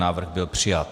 Návrh byl přijat.